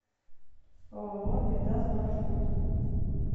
ооо медас маршрут